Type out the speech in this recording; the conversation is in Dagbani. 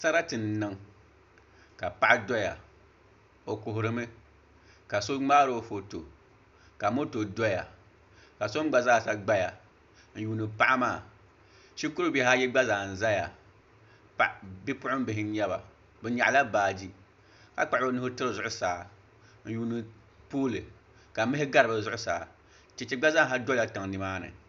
Sarati n niŋ ka paɣa doya o kuhurimi ka so ŋmaaro foto ka moto doya ka so mii gba zaa sa gbaya n yuundi paɣa maa shikuru bihi ayi gba zaa n ʒɛya bipuɣunbihi n nyɛba bi nyaɣala baaji ka kpuɣu bi nuu tiri zuɣusaa n yuundi pool ka mihi gba zaaha gari bi zuɣusaa chɛchɛ gba zaaha dola tiŋ nimaani